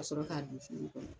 A sɔrɔ ka don kɔnɔ.